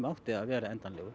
átti að vera endanlegur